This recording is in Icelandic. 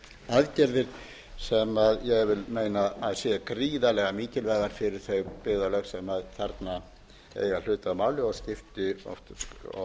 aðgerðir sem ég vil meina að sé gríðarlega mikilvægar fyrir þau byggðarlög sem þarna eiga hlut að máli og